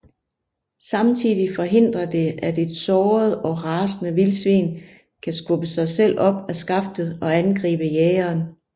Samtidig forhindrer det at et såret og rasende vildsvin kan skubbe sig selv op af skaftet og angribe jægeren